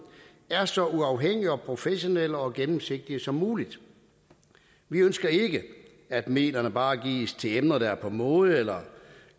er så uafhængige og professionelle og gennemsigtige som muligt vi ønsker ikke at midlerne bare gives til emner der er på mode eller